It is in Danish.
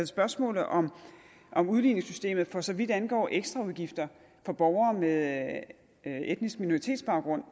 spørgsmålet om om udligningssystemet for så vidt angår ekstraudgifter for borgere med etnisk minoritetsbaggrund